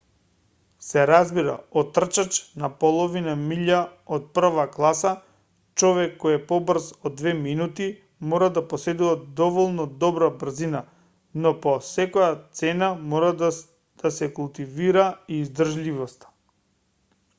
се разбира од трчач на половина милја од прва класа човек кој е побрз од две минути мора да поседува доволно добра брзина но по секоја цена мора да се култивира и издржливоста